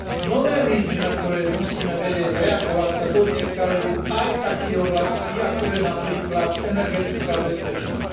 Nové výzvy, na ktoré musíme vedieť reagovať, sa dotýkajú aj takých oblastí, ako je napríklad energetická bezpečnosť.